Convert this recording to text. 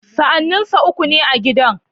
Sa'anninsa uku ne a gidan.